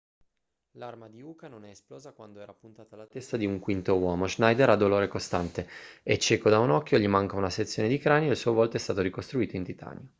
l'arma di uka non è esplosa quando era puntata alla testa di un quinto uomo schneider ha dolore costante è cieco da un occhio gli manca una sezione di cranio e il suo volto è stato ricostruito in titanio